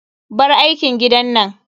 Bar aikin gidan nan.